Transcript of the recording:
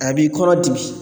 A b'i kɔnɔ dimi